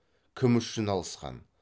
кім үшін алысқан